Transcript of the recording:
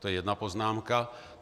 To je jedna poznámka.